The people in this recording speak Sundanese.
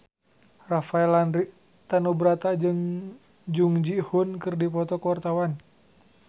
Rafael Landry Tanubrata jeung Jung Ji Hoon keur dipoto ku wartawan